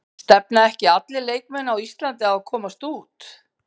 Stefna ekki allir leikmenn á Íslandi á að komast út?